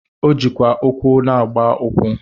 O jikwa ụkwụ na-agba ụkwụ.